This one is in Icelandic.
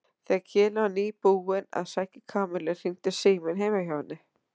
Þegar Keli var nýbúinn að sækja Kamillu hringdi síminn heima hjá henni.